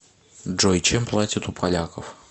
джой чем платят у поляков